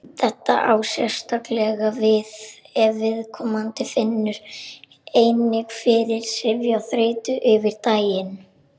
Þetta á sérstaklega við ef viðkomandi finnur einnig fyrir syfju og þreytu yfir daginn.